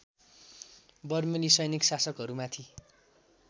बर्मेली सैनिक शासकहरूमाथि